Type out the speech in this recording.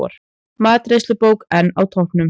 Matreiðslubók enn á toppnum